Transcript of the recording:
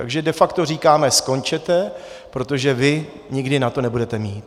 Takže de facto říkáme: Skončete, protože vy nikdy na to nebudeme mít!